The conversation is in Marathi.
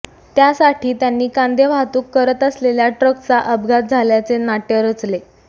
त्यासाठी त्यांनी कांदे वाहतूक करत असलेल्या ट्रकचा अपघात झाल्याचे नाट्य रचले